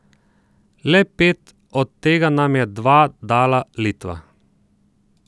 Le pet, od tega nam je dva dala Litva.